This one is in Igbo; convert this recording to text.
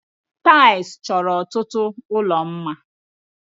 Taịlị chọrọ ọtụtụ ụlọ mma.